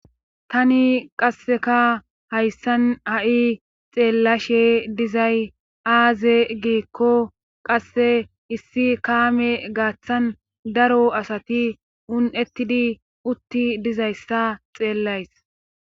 Tani qasseka hayssan ha'i xeellashe dizay aaze giikko qasse issi kaame gaaththan daro asati un7ettid' utti dizayssa xeellays